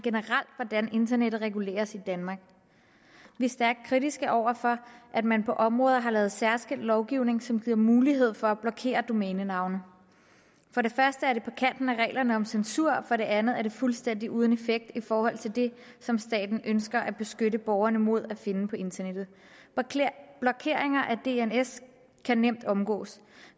hvordan internettet reguleres i danmark vi er stærkt kritiske over for at man på områder har lavet særskilt lovgivning som giver mulighed for at blokere domænenavne for det første er det på kanten af reglerne om censur og for det andet er det fuldstændig uden effekt i forhold til det som staten ønsker at beskytte borgerne mod at finde på internettet blokeringer af dns kan nemt omgås